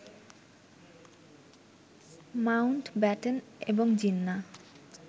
Mount Batten এবং জিন্না